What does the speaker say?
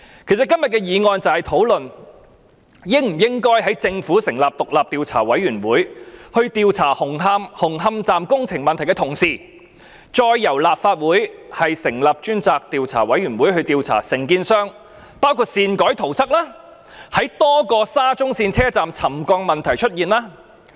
其實，今天的議案便是討論應否在政府成立獨立調查委員會調查紅磡站工程問題的同時，再由立法會成立專責委員會調查承建商，範圍包括擅改圖則，以及在多個沙中線車站出現沉降的問題。